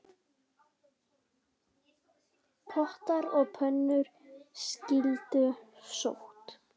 Pottar og pönnur skyldu sótt.